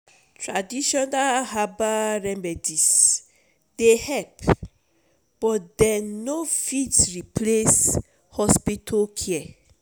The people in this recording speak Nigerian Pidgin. traditional herbbal remedies dey help but dem no fit replace hospital care.